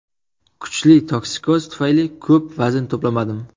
Kuchli toksikoz tufayli ko‘p vazn to‘plamadim.